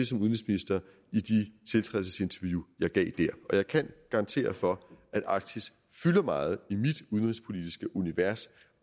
som udenrigsminister i de tiltrædelsesinterview jeg gav der og jeg kan garantere for at arktis fylder meget i mit udenrigspolitiske univers